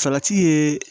Salati ye